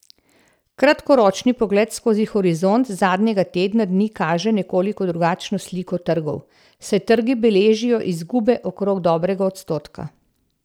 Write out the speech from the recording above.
Kratkoročni pogled skozi horizont zadnjega tedna dni kaže nekoliko drugačno sliko trgov, saj trgi beležijo izgube okrog dobrega odstotka.